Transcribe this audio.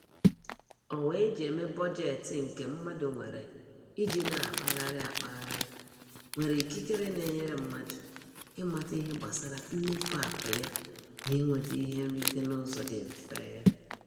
Ọwa e ji eme bọjetị nke mmadụ nwere iji na-akpagharị akpagharị nwere ikikere na-enyere mmadụ ịmata ihe gbasara mmefu akụ ya na inweta ihe nrite n'ụzọ dị mfe